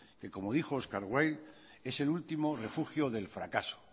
que como dijo oscar wilde es el último refugio del fracaso